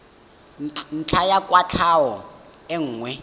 ntlha ya kwatlhao e nngwe